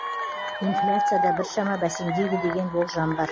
инфляция да біршама бәсеңдейді деген болжам бар